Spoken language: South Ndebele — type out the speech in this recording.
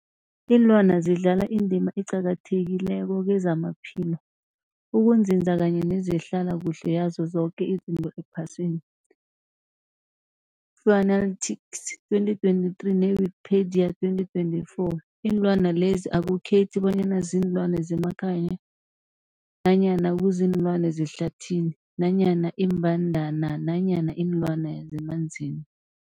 Iinlwana zidlala indima eqakathekileko kezamaphilo, ukunzinza kanye nezehlala kuhle yazo zoke izinto ephasini, Fuanalytics 2023, ne-Wikipedia 2024. Iinlwana lezi akukhethi bonyana ziinlwana zemakhaya nanyana kuziinlwana zehlathini nanyana iimbandana nanyana iinlwana zemanzini.